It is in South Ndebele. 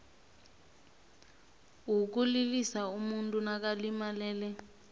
wokulilisa umuntu nakalimalele